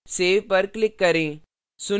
save पर click करें